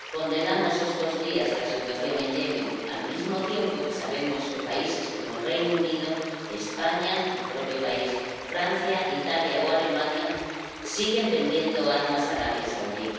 Condenamos estos días la situación en Yemen al mismo tiempo que sabemos que países como el Reino Unido, España —mi propio país—, Francia, Italia o Alemania siguen vendiendo armas a Arabia Saudí.